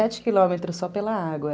Era sete quilômetros só pela água.